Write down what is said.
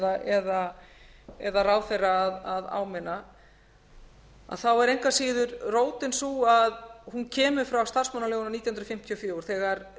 forstöðumann eða ráðherra að áminna að þá er engu að síður rótin sú að hún kemur frá starfsmannalögunum nítján hundruð fimmtíu og fjögur